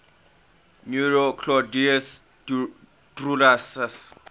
nero claudius drusus